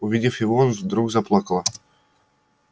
увидев его он вдруг заплакала